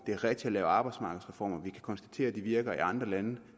det er rigtigt at lave arbejdsmarkedsreformer vi kan konstatere at de virker i andre lande